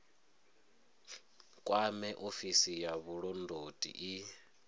kwame ofisi ya vhulondoti i